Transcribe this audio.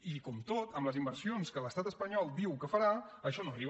i com tot en les inversions que l’estat espanyol diu que farà això no arriba